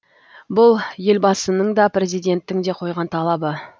бұл елбасының да президенттің де қойған талабы